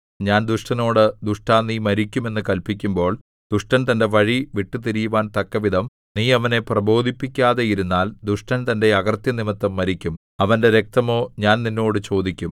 ഞാൻ ദുഷ്ടനോട് ദുഷ്ടാ നീ മരിക്കും എന്ന് കല്പിക്കുമ്പോൾ ദുഷ്ടൻ തന്റെ വഴി വിട്ടുതിരിയുവാൻ തക്കവിധം നീ അവനെ പ്രബോധിപ്പിക്കാതെയിരുന്നാൽ ദുഷ്ടൻ തന്റെ അകൃത്യം നിമിത്തം മരിക്കും അവന്റെ രക്തമോ ഞാൻ നിന്നോട് ചോദിക്കും